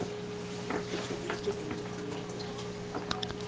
o tobeditše konope ya go